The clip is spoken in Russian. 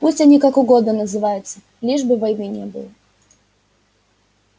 пусть они как угодно называются лишь бы войны не было